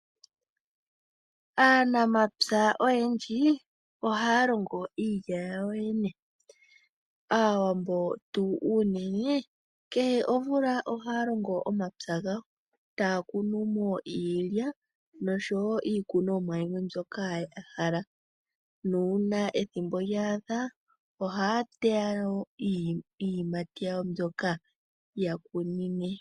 Aanamapya oyendji ohaya longo iilya yawo yene. Aawambo unene kehe omvula ohaya longo omapya gawo, taya kunumo iilya noshowo iikunomwa yawo mbyoka yahala nuuna ethimbo lyaadha ohaya teya nduno iiyimati yawo mbyoka yakunine.